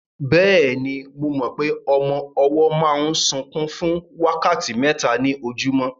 Bẹ́ẹ̀ni, mo mọ pé ọmọ ọwọ́ máa ń sunkún fún wákàtí mẹ́ta ní ojúmọ́